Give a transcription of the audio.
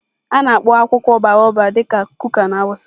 A na-akpọ akwụkwọ baobab dị ka kuka na hausa.